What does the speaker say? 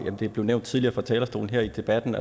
som det blev nævnt tidligere fra talerstolen her i debatten